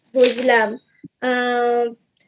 বুঝলাম আর